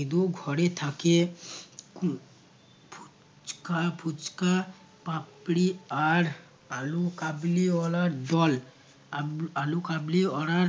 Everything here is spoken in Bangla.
ইদু ঘরে থাকে ফু~ ফুচকা ফুচকা পাপড়ি আর আলু কাবলি ওয়ালার দল আল আলু কাবলি ওয়ালার